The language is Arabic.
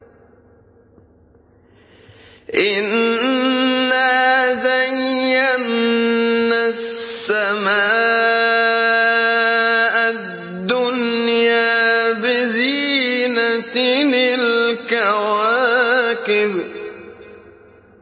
إِنَّا زَيَّنَّا السَّمَاءَ الدُّنْيَا بِزِينَةٍ الْكَوَاكِبِ